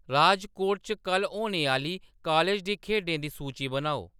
राजकोट च कल्ल होने आह्ली कालेज दी खेढें दी सूची बनाओ